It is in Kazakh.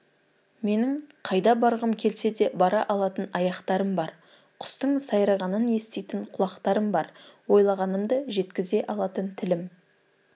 менің қайда барғым келсе де бара алатын аяқтарым бар құстың сайрағанын еститін құлақтарым бар ойлағанымды жеткізе алатын тілім